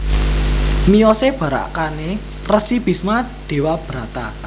Miyosé barakané Resi Bisma Dewabrata